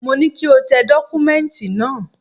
Mo ní kí o tẹ dọ́kúmẹ́ǹtì náà!